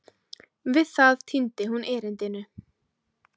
Við það týndi hún erindinu.